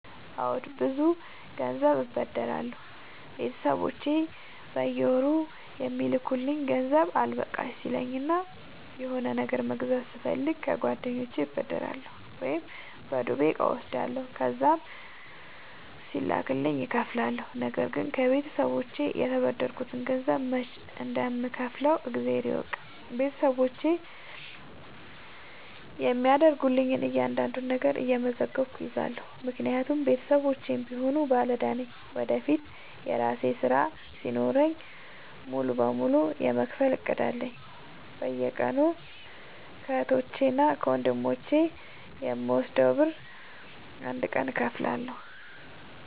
አዎድ ብዙ ግዜ ገንዘብ አበደራለሁ ቤተሰቦቼ በየወሩ የሚልኩልኝ ገንዘብ አልበቃሽ ሲለኝ እና የሆነ ነገር መግዛት ስፈልግ ከጓደኞቼ እበደራለሁ። ወይም በዱቤ እቃ እወስዳለሁ ከዛም ሲላክልኝ እከፍላለሁ። ነገርግን ከቤተሰቦቼ የተበደርከትን ገንዘብ መች እንደም ከውፍለው እግዜር ይወቅ ቤተሰቦቼ የሚያደርጉልኝን እያንዳዷን ነገር እየመዘገብኩ እይዛለሁ። ምክንያቱም ቤተሰቦቼም ቢሆኑ ባለዳ ነኝ ወደፊት የራሴ ስራ ሲኖረኝ ሙሉ በሙሉ የመክፈል እቅድ አለኝ። በየቀኑ ከህቶቼ እና ከወንድሞቼ የምወስደውን ብር አንድ ቀን እከፍላለሁ።